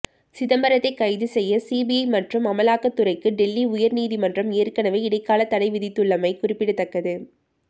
சிதம்பரத்தை கைது செய்ய சிபிஐ மற்றும் அமுலாக்கத்துறைக்கு டெல்லி உயர் நீதிமன்றம் ஏற்கனவே இடைக்கால தடை விதித்துள்ளமை குறிப்பிடத்தக்கது